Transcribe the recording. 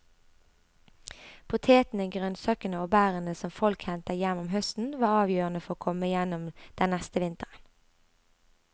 Potetene, grønnsakene og bærene som folk hentet hjem om høsten var avgjørende for å komme gjennom den neste vinteren.